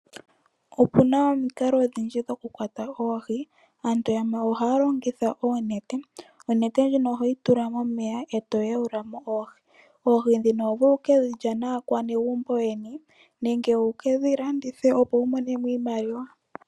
Opu na omikalo odhindji dhokukwata oohi. Aantu yamwe ohaya longitha oonete. Onete ndjino ohoyi tula momeya e to yaula mo oohi. Oohi ndhino oho vulu oku ke dhi lya naanegumbo lyeni nenge wu ke dhi landithe, opo wu mone mo iimaliwa.